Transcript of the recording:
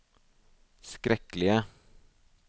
skrekkelige